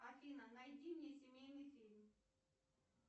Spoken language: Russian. афина найди мне семейный фильм